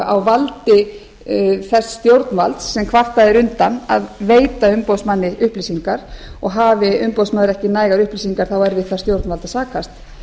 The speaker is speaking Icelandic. á valdi þess stjórnvalds sem kvartað er undan að veita umboð að veita umboðsmanni upplýsingar og hafi umboðsmaður ekki nægar upplýsingar að þá er við það stjórnvald að sakast